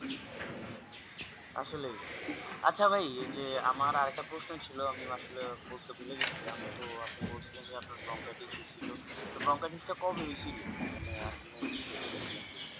আসলেই আচ্ছা ভাই আমার এইযে আমার আরেকটা প্রশ্ন ছিল আমি আসলে করেত ভুলে গেছিলাম তো আমি বলছিলাম যে আপনার Bronchitis যে হৈছিল তো Bronchitis টা কবে হৈছিল মানে আসলে আমি ভুলে গেছিলাম যদিও